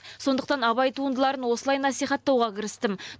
сондықтан абай туындыларын осылай насихаттауға кірістім